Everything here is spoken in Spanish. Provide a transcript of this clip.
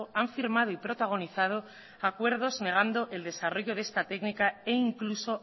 han firmado y protagonizado acuerdos negando el desarrollo de esta técnica e incluso